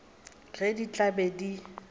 ge di tla be di